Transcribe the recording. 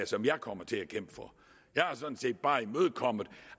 som jeg kommer til at kæmpe for jeg har sådan set bare imødekommet